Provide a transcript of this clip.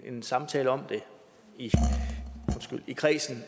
en samtale om det i kredsen